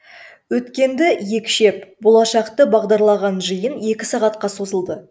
өткенді екшеп болашақты бағдарлаған жиын екі сағатқа созылды